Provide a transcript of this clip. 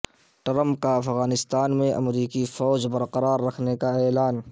Trump کا افغانستان میں امریکی فوج برقرار رکھنے کا اعلان